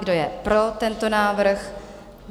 Kdo je pro tento návrh?